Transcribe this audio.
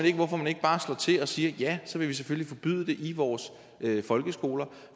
ikke hvorfor man ikke bare slår til og siger ja så vil vi selvfølgelig forbyde det i vores folkeskoler